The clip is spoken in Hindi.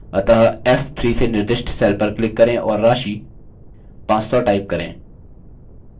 अतः f3 से निर्दिष्ट cell पर click करें और राशि 500 type करें